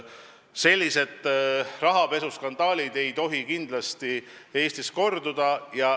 Sellised rahapesuskandaalid ei tohi kindlasti Eestis korduda.